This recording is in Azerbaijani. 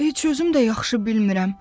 Heç özüm də yaxşı bilmirəm.